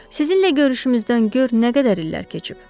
Sizinlə görüşümüzdən gör nə qədər illər keçib.